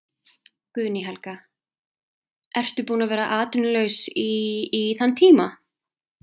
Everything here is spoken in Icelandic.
Guðný Helga: Ertu búin að vera atvinnulaus í, í þann tíma?